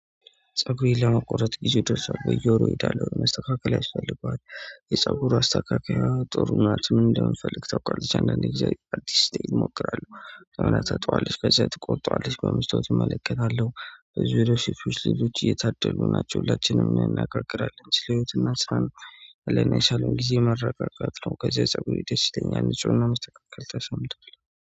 ፀጉሬን ለመቆረጥ ጊዜው ደርሷል በየወሩ እሄዳለው መስተካከል ያስፈልጋል። የፀጉሩ አስተካካይ ጥሩ ምናምን ምን እንደምፈልግ ታውቃለህ እንደዚህ አዲስ ቴን እሞክራለሁ እና ታጣዋለሽ ከዛ ትቆጣዋለሽ በምሽቱ እመለከታለሁ። በዚህ ቪዲዮ ሺፍ ሺፍ ልጅ እየታደሉ ናቸው ለአችንም እናናገርግራለን ስለ ህይወት እናስራን። አላስብም ጊዜ መረቀቅ ነው። ከዛ ፀጉሩ ደስ ይለኛል ንጹህ እና መስተካከል ተሰምቷል